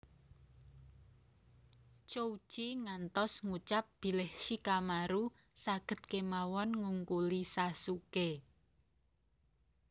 Chouji ngantos ngucap bilih Shikamaru saged kemawon ngungkuli Sasuké